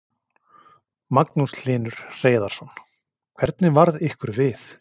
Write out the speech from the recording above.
Magnús Hlynur Hreiðarsson: Hvernig varð ykkur við?